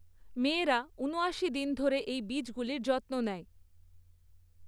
মেয়েরা উনআশি দিন ধরে এই বীজগুলির যত্ন নেয়।